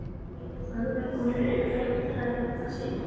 Fagrar konur eru fljótari að jafna sig.